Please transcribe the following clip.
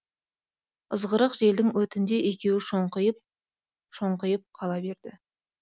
ызғырық желдің өтінде екеуі шоңқиып шоңқиып қала берді